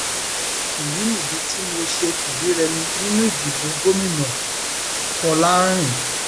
èyí nìdí tí mo ṣe fìdírẹmi nínú ìdìbò gómìnàfọlárìn